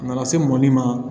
Na na se mɔbili ma